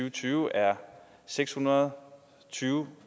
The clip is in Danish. og tyve er seks hundrede og tyve